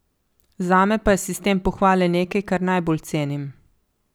Zame pa je sistem pohvale nekaj, kar najbolj cenim.